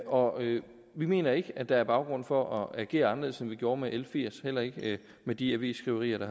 og vi mener ikke at der er baggrund for at agere anderledes end vi gjorde med l firs heller ikke med de avisskriverier